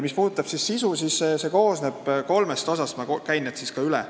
Mis puudutab koolituse sisu, siis see koosneb kolmest osast, ma käin need ka üle.